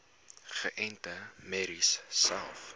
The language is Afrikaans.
geënte merries selfs